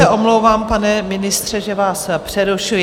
Já se omlouvám, pane ministře, že vás přerušuji.